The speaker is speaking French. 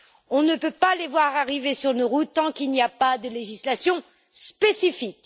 On ne peut pas la voir arriver sur nos routes tant qu'il n'y a pas de législation spécifique.